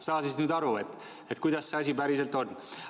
Saa siis nüüd aru, kuidas see asi päriselt on.